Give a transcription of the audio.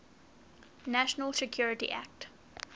national security act